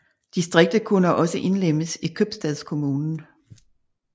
Distriktet kunne også indlemmes i købstadskommunen